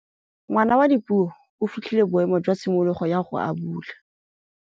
Ngwana wa Dipuo o fitlhile boêmô jwa tshimologô ya go abula.